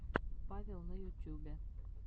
павел на ютюбе